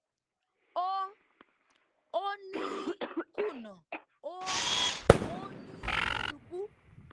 ó ó ní kùnà ó ó ní ṣubú